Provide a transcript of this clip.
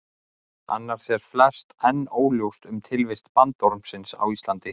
Annars er flest enn óljóst um tilvist bandormsins á Íslandi.